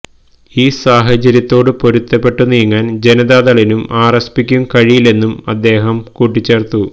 ഈ സാഹചര്യത്തോടു പൊരുത്തപ്പെട്ടു നീങ്ങാന് ജനതാദളിലും ആര്എസ്പിക്കും കഴിയില്ലെന്നും അദ്ദേഹം കൂട്ടിച്ചേര്ത്തു